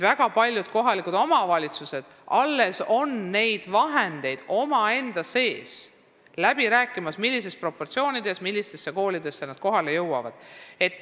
Väga paljud kohalikud omavalitsused peavad praegu alles läbirääkimisi, millistes proportsioonides ja millistesse koolidesse nad raha eraldavad.